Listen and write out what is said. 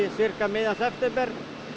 miðjan september